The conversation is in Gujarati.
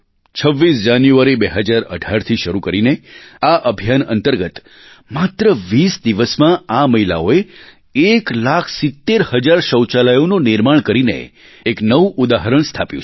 26 જાન્યુઆરી 2018થી શરૂ કરીને આ અભિયાન અંતર્ગત માત્ર 20 દિવસમાં આ મહિલાઓએ 1 લાખ 70 હજાર શૌચાલયોનું નિર્માણ કરીને એક નવું ઉદાહરણ સ્થાપ્યું છે